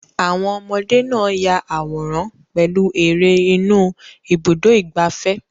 Àwọn ọmọdé náà yà àwòrán pẹ̀lú eré inú Ibùdó-ìgbafẹ́.